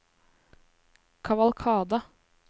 kavalkade